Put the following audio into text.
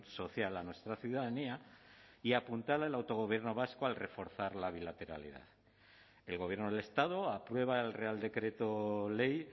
social a nuestra ciudadanía y apuntala el autogobierno vasco al reforzar la bilateralidad el gobierno del estado aprueba el real decreto ley